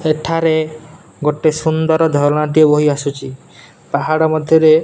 ସେଠାରେ ଗୋଟେ ସୁନ୍ଦର ଝରଣା ଟେ ବହି ଆସୁଚି। ପାହାଡ଼ ମଧ୍ୟରେ --